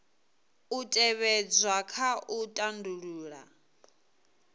u tevhedzwa kha u tandulula